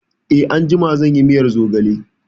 Eh, anjima zan yi miyar zogale